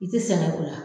I tɛ sɛgɛn o la